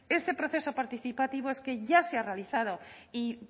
ese proceso participativo es que ya se ha realizado y